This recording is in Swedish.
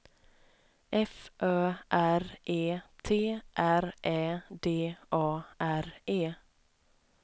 F Ö R E T R Ä D A R E